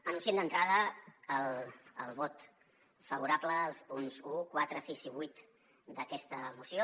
anunciem d’entrada el vot favorable als punts un quatre sis i vuit d’aquesta moció